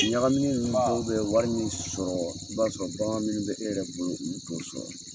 Ɲagamini ninnu dɔw bɛ wari min sɔrɔ i b'a sɔrɔ bagan minnu bɛ e yɛrɛ bolo ulu t'o sɔrɔ.